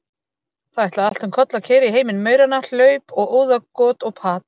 Það ætlaði allt um koll að keyra í heimi mauranna, hlaup og óðagot og pat.